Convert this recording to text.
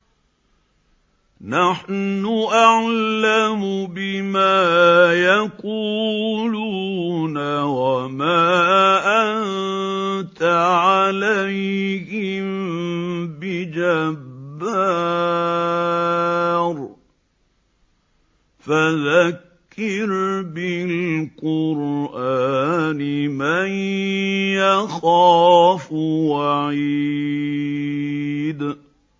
نَّحْنُ أَعْلَمُ بِمَا يَقُولُونَ ۖ وَمَا أَنتَ عَلَيْهِم بِجَبَّارٍ ۖ فَذَكِّرْ بِالْقُرْآنِ مَن يَخَافُ وَعِيدِ